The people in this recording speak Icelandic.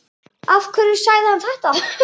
Af hverju sagði hann þetta?